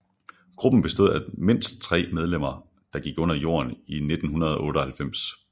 Gruppen bestod af mindst tre medlemmer der gik under jorden i 1998